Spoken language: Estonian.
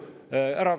Lugupeetud minister!